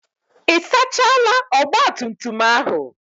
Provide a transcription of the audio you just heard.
Ị sachaala ogbatumtum ahụ?